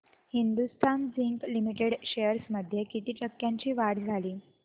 Hindustan Zinc Limited shares मध्ये किती टक्क्यांची वाढ झाली